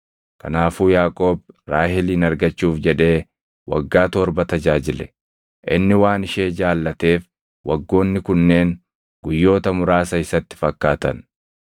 Kanaafuu Yaaqoob Raahelin argachuuf jedhee waggaa torba tajaajile. Inni waan ishee jaallateef waggoonni kunneen guyyoota muraasa isatti fakkaatan.